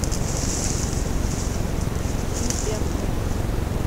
филипенко